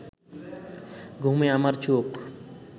ঘুমে আমার চোখ